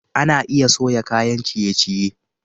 Ana iya soya kayan ciye-ciye.